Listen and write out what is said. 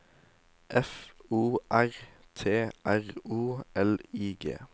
F O R T R O L I G